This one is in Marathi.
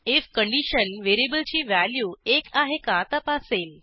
आयएफ कंडिशन व्हेरिएबलची व्हॅल्यू एक आहे का तपासेल